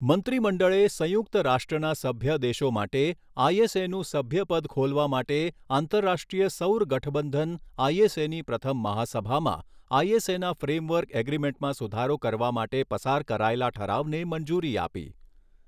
મંત્રીમડળે સંયુક્ત રાષ્ટ્રના સભ્ય દેશો માટે આઈએસએનું સભ્યપદ ખોલવા માટે આંતરરાષ્ટ્રીય સૌર ગઠબંધન આઈએસએની પ્રથમ મહાસભામાં આઈએસએના ફ્રેમવર્ક એગ્રીમેન્ટમાં સુધારો કરવા માટે પસાર કરાયેલા ઠરાવને મંજૂરી આપી.